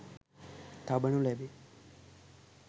තබනු ලැබේ.